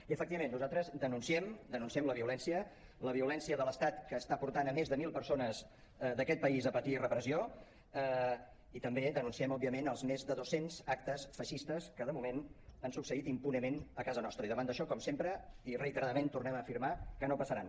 i efectivament nosaltres denunciem la violència la violència de l’estat que està portant més de mil persones d’aquest país a patir repressió i també denunciem òbviament els més de dos cents actes feixistes que de moment han succeït impunement a casa nostra i davant d’això com sempre i reiteradament tornem a afirmar que no passaran